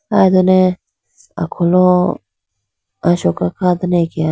aye done akholo asoka kha dane akeya.